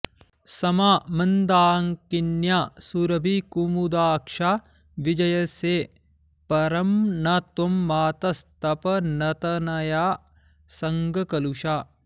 समा मन्दाकिन्या सुरभिकुमुदाक्षा विजयसे परं न त्वं मातस्तपनतनयासङ्गकलुषा